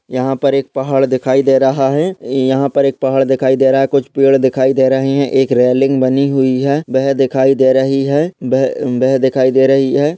यहाँ पर एक पहाड़ दिखाई दे रहा है यहाँ पर एक पहाड़ दिखाई दे रहा है कुछ पेड़ दिखाई दे रहे है एक रेलिंग बनी हुई है बह दिखाई दे रही है बह दिखाई दे रही है।